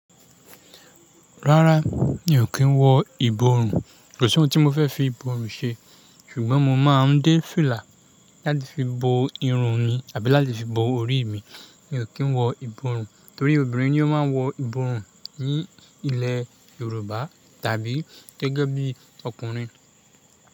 Rárá mi ò kí ń wọ ìborùn, kò sí ohun tí mo fẹ́ fi ìborùn ṣe, ṣùgbọ́n mo máa ń dé fìlà láti fi bo irun mi àbí láti fi bo orí mi. Mi ò kí ń wọ ìborùn torí obìnrin ni ó máa ń wọ ìborùn ní ilẹ̀ Yorùbá tàbí gẹ́gẹ́ bí ọkùnrin.